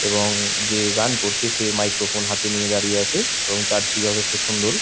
এবং যে গান করছে সে মাইক্রোফোন হাতে নিয়ে দাঁড়িয়ে আছে চার্চ টি যথেষ্ট সুন্দর।